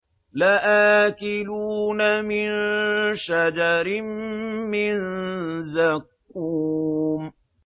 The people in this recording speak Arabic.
لَآكِلُونَ مِن شَجَرٍ مِّن زَقُّومٍ